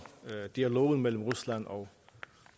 dialogen mellem rusland og